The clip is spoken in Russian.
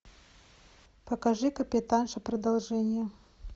покажи капитанша продолжение